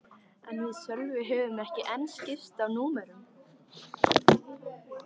En við Sölvi höfðum ekki enn skipst á númerum.